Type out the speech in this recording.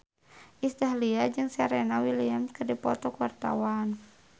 Iis Dahlia jeung Serena Williams keur dipoto ku wartawan